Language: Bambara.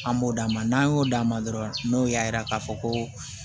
An b'o d'a ma n'an y'o d'a ma dɔrɔn n'o y'a yira k'a fɔ ko